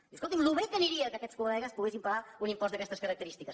diu escolti’m com de bé aniria que aquests collegues poguessin pagar un impost d’aquestes característiques